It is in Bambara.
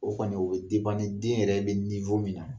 O kɔni o bɛ ni den yɛrɛ bɛ min na